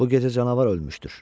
Bu gecə canavar ölmüşdür.